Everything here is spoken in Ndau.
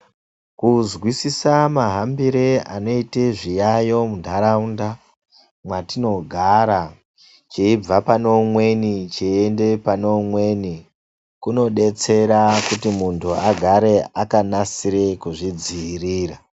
Kuzwisisa mahambire anoita zviyayo muntharaunda mwatinogara, cheibva pane umweni cheiende pane umweni, kunodetsera kuti munthu agare akanasirira kuzvidziirira.